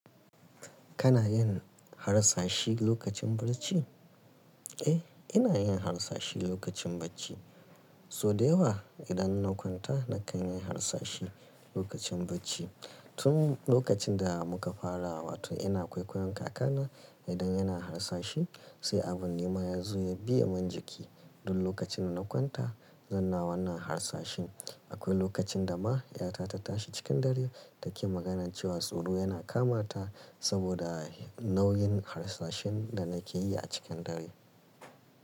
Kana yin harsashi lokacin barci? Eh, ina yin harsashi lokacin bacci. So da yawa idan na kwanta nakan yi harsashi lokacin bacci. Tun lokacin da muka fara, wato ina kwaikwayon kakana idan yana harsashi. Sai abun nima yazo ya biyamin jiki. Duk lokacin da na kwanta zanna wannan harsashi. Akwai lokacin da ma 'yata ta tashi cikin dare take magana cewa tsoro yana kama ta saboda nauyin harsashin da nake yi a cikin dare.